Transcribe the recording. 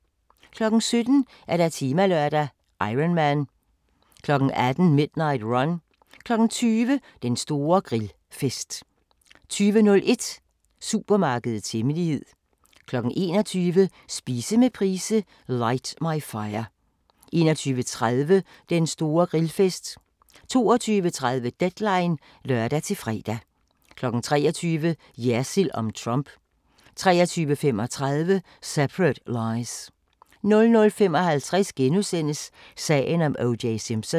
17:00: Temalørdag: Ironman 18:00: Midnight Run 20:00: Den store grillfest 20:01: Supermarkedets hemmelighed 21:00: Spise med Price - Light my Fire 21:30: Den store grillfest 22:30: Deadline (lør-fre) 23:00: Jersild om Trump 23:35: Separate Lies 00:55: Sagen om O.J. Simpson *